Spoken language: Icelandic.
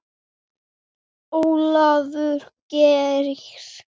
Ólafur Geir.